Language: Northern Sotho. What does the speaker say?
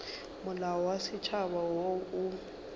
molao wa setšhaba wo o